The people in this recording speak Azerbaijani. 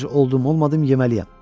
Ac oldum olmadım yeməliyəm.